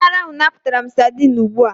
Onye ara ahụ napụtara m sadin ugbu a.